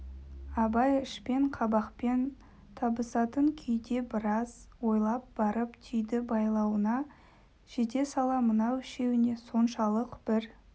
абай ішпен қабақпен табысатын күйде біраз ойлап барып түйді байлауына жете сала мынау үшеуіне соншалық бір